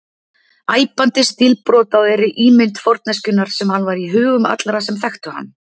Æpandi stílbrot á þeirri ímynd forneskjunnar sem hann var í hugum allra sem þekktu hann.